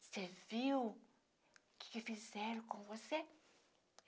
Você viu o que que fizeram com você?